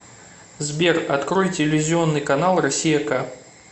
сбер открой телевизионный канал россия к